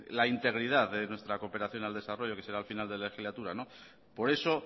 la integridad de nuestra cooperación al desarrollo que será al final de la legislatura por eso